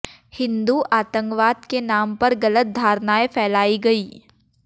हिन्दू आतंकवाद के नाम पर गलत धारणाएं फैलाई गईं